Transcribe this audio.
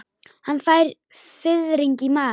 Hann fær fiðring í magann.